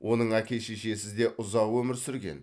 оның әке шешесі де ұзақ өмір сүрген